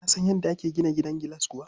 Ka san yadda ake gina gidan gilas kuwa?